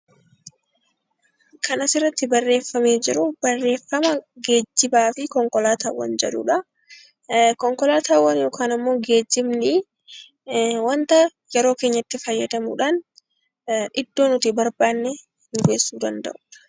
Kan asirratti barreeffamee jiru barreeffama geejjibaa fi konkolaataawwan jedhudha. Konkolaataawwan yookaan ammoo geejjibni waanta yeroo keenyatti fayyadamuudhaan iddoo nuti barbaanne nu geessuu danda'udha.